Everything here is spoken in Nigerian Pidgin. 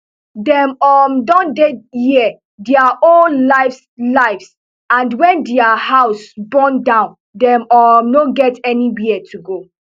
dem um don dey here dia whole lives lives and wen dia houses burn down dem um no get anywia to go